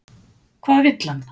Hvað vill hann?